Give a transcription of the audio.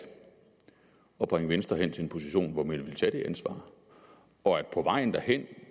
at bringe venstre hen til en position hvor man ville tage det ansvar og på vejen derhen